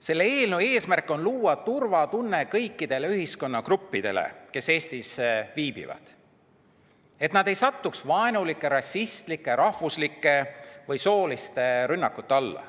Selle eelnõu eesmärk on luua turvatunne kõikidele ühiskonnagruppidele, kes Eestis viibivad, et nad ei satuks vaenulike, rassistlike, rahvuslike või sooliste rünnakute alla.